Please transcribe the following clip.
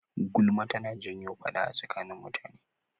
Gulma tana janyo faɗa a tsakanin mutane.